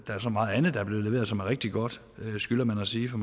er så meget andet der er blevet leveret som er rigtig godt skylder man at sige for